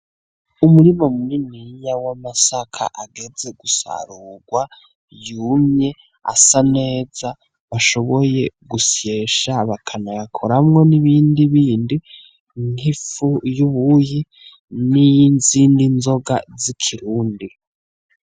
Umurima muniniya w'amasaka ageze gusarugwa. yumye asaneza bashoboye gusyesha bakanayakoramwo n'ibindi bindi, nk'ifu y'ubuyi n'iyizindi nzoga z'ikirundi.